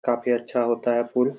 काफी अच्छा होता है पुल--